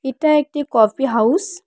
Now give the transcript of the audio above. এটা একটি coffee house.